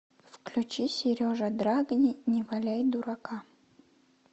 включи сережа драгни не валяй дурака